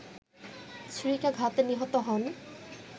ছুরিকাঘাতে নিহত হন